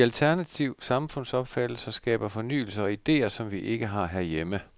De alternative samfundsopfattelser skaber fornyelser og idéer, som vi ikke har herhjemme.